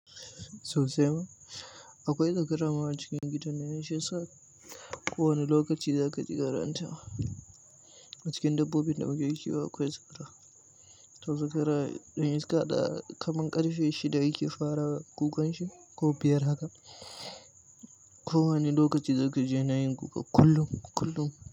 Sau sai ma, akwai zakara a cikin gidan nan shi yasa, kowane lokaci zakaji karan ta. A cikin dabbobin da muke kiwo akwai zakara. To zakara ɗan iska da kamun ƙarfe shida yake fara kukan shi ko biyar haka. Ko wane lokaci zaka ji yana yin kuka kullum, kullum.